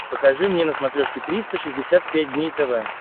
покажи мне на смотрешке триста шестьдесят пять дней тв